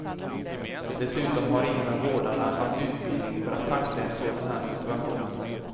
Dessutom har ingen av vårdarna haft utbildning för att tackla en sådan här situation.